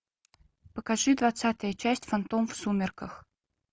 покажи двадцатая часть фантом в сумерках